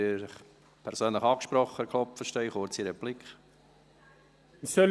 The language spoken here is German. Etienne Klopfenstein, Sie fühlen sich angesprochen?